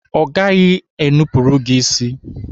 Ọ gaghị enupurụ gị isi.